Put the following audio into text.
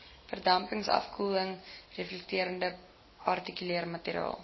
verdampingsverkoeling reflekterende partikelmateriaal